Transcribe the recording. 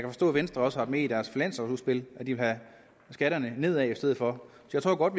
forstå at venstre også har med i deres finanslovudspil at de vil have skatterne ned i stedet for jeg tror godt